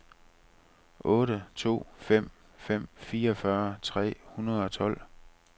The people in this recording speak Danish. otte to fem fem fireogfyrre tre hundrede og tolv